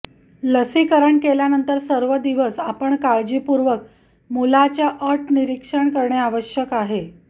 लसीकरण केल्यानंतर सर्व दिवस आपण काळजीपूर्वक मुलाच्या अट निरीक्षण करणे आवश्यक आहे